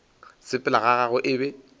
sepela ga gagwe e be